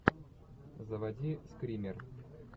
заводи скример